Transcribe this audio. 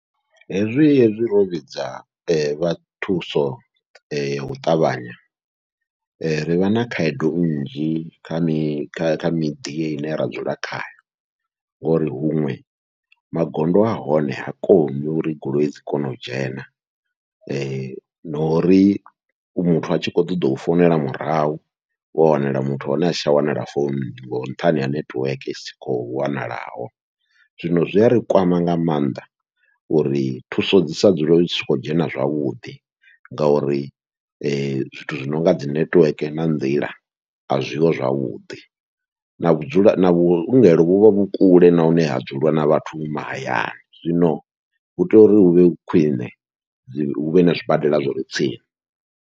Hezwi hezwi ro vhidza vha thuso yau ṱavhanya ri vha na khaedu nnzhi kha mi miḓi ine ra dzula khayo, ngori huṅwe magondo ahone ha koni uri goloi dzi kone u dzhena na uri muthu a tshi kho ṱoḓa u founela murahu wa wanala muthu wahone asi tsha wanala foununi, nga nṱhani ha nethiweke isi khou wanalaho. Zwino zwi ari kwama nga maanḓa uri thuso dzi sa dzule zwi tshi khou dzhena zwavhuḓi, ngauri zwithu zwi nonga dzi nethiweke na nḓila azwiho zwavhuḓi, na vhudzulo na vhuongelo vhuvha vhu kule na hune ha dzuliwa na vhathu mahayani, zwino hu tea uri huvhe hu khwiṋe huvhe na zwibadela zwire tsini.